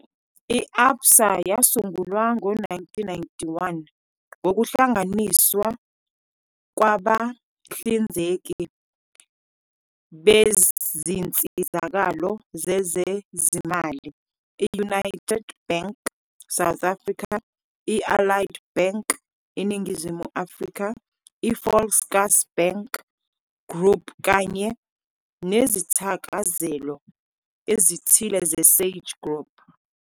I-Absa yasungulwa ngo-1991 ngokuhlanganiswa kwabahlinzeki bezinsizakalo zezezimali i-United Bank, South Africa, i-Allied Bank, iNingizimu Afrika, i-Volkskas Bank Group kanye nezithakazelo ezithile zeSage Group.